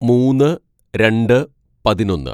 "മൂന്ന് രണ്ട് പതിനൊന്ന്‌